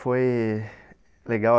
Foi legal.